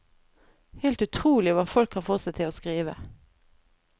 Helt utrolig hva folk kan få seg til å skrive.